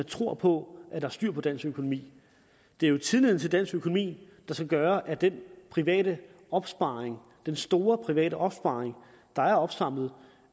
tror på at der er styr på dansk økonomi det er jo tilliden til den danske økonomi der skal gøre at den private opsparing den store private opsparing der er opsamlet